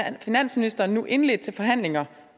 finansministeren nu indledt forhandlinger